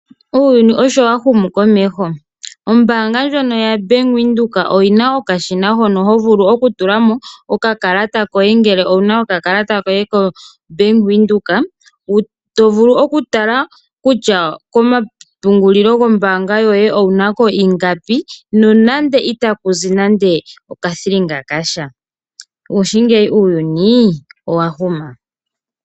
Uuyuni osho wa humu komeho. Ombaanga ndjono yaBank Windhoek oyi na okashina hono ho vulu okutula mo okakalata koye ngele owu na okakalata koBank Windhoek, to vulu okutala kutya komapungulilo gombaanga yoye owu na ko ingapi nonando ita ku zi nando okathilinga kasha. Ngaashingeyi uuyuni owa huma.